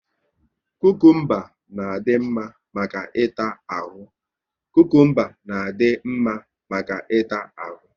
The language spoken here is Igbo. Kukumba na adị mma maka ịta ahụ